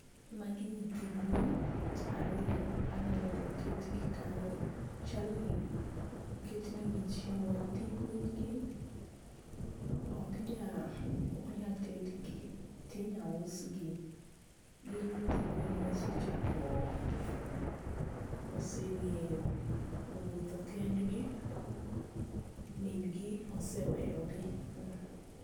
Magi nyithi gwen ariyo. Aneno koketgi kanyo chalni oket ne gi chiemo . Nyithi gwen gi ok nya ok nya tedgi tinya usgi. Gin nyithi gwen mosechako oseng'eyo wuotho kendgi min gi oseweyo gi.